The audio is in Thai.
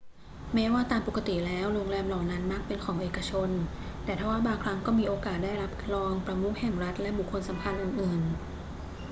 แม้ว่าตามปกติแล้วโรงแรมเหล่านั้นมักเป็นของเอกชน ทว่าบางครั้งก็มีโอกาสได้รับรองประมุขแห่งรัฐและบุคคลสำคัญอื่น ๆ